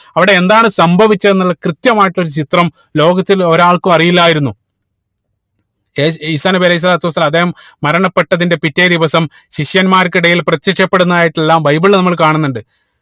അവിടെ എന്താണ് സംഭവിച്ചത് എന്നുള്ളത് കൃത്യമായിട്ട് ഒരു ചിത്രം ലോകത്തിൽ ഒരാൾക്കും അറിയില്ലായിരുന്നു ഏർ ഈസാ നബി അലൈഹി സ്വലാത്തു വസ്സലാം അദ്ദേഹം മരണപ്പെട്ടതിനു പിറ്റേ ദിവസം ശിഷ്യന്മാർക്ക് ഇടയിൽ പ്രത്യക്ഷപ്പെടുന്നതായിട്ടെല്ലാം ബൈബിളിൽ നമ്മൾ കാണുന്നുണ്ട്